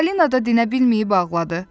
Falina da dinə bilməyib ağladı.